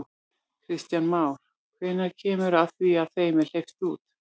Kristján Már: Hvenær kemur að því að þeim er hleypt út?